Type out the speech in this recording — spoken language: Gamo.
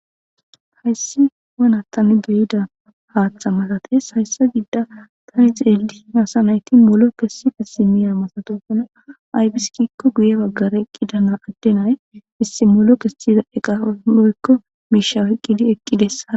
Hayssi wana tani beyida haaththa matates hayssa gidda tani xeeldi masa nayti molo kessi pisi miya masatofona aybiskikko guye baggare eqqidana addenay issi molo kessiza eqamoykko miishaweqqidi eqqides